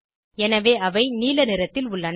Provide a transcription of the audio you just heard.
எனவே அவை நீல நிறத்தில் உள்ளன